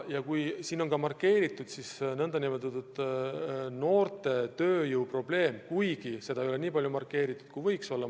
Ja siin on markeeritud ka noorte tööjõu probleem, kuigi seda ei ole nii palju markeeritud, kui võiks olla.